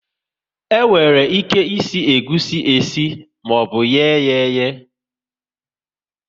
E nwere ike ịsị egusi esi maọbụ ye yá eyee